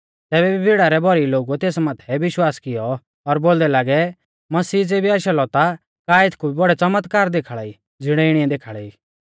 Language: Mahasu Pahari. तैबै भी भीड़ा रै भौरी लोगुऐ तेस माथै विश्वास कियौ और बोलदै लागै मसीह ज़ेबी आशा लौ ता का एथकु भी बौड़ै च़मतकार देखाल़ाई ज़िणै इणीऐ देखाल़ै ई